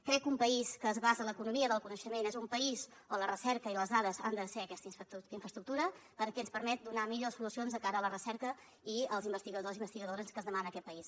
crec que un país que es basa en l’economia del coneixement és un país on la recerca i les dades han de ser aquesta infraestructura perquè ens permet donar millors solucions de cara a la recerca i als investigadors i investigadores que es demanen a aquest país